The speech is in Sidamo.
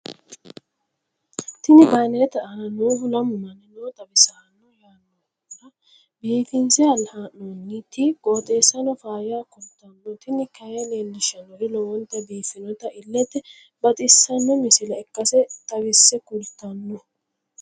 tini banerete aana noohu lamu manni no xawissanno yaannohura biifinse haa'noonniti qooxeessano faayya kultanno tini kayi leellishshannori lowonta biiffinota illete baxissanno misile ikkase xawisse kultanno.